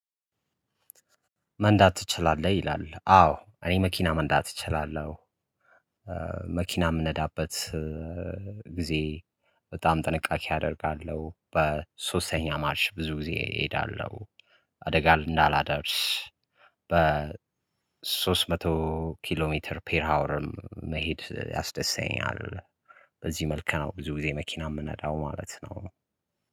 መንዳት ትችላለህ? ይላል አዎ እኔ መኪና መንዳት እችላለሁ። መኪና የምነዳበት ጊዜ በጣም ጥንቃቄ አደርጋለሁ። በሶስተኛ ማርሽ ብዙ ጊዜ እሄዳለሁ። አደጋ እንዳላደርስ። በሶስት መቶ ኪሎ ሜትር ፔር ሃወርም መሄድ ያስደስተኛል። በዚህ መልኩ ነው ብዙ ጊዜ መኪና የምነዳው ማለት ነው።